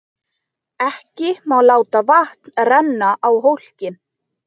Ekki má láta vatn renna á hólkinn.